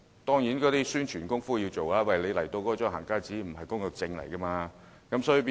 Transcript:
當然，宣傳工作要做足，讓他們明白"行街紙"並非工作證。